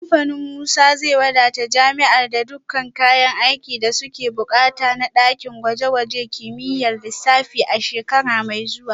Kamfanin Musa zai wadata jami’ar da dukkan kayan aikin da suke bukata na dakin gwaje-gwajen kimiyyar lissafi a shekara mai zuwa